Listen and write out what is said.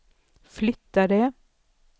flyttade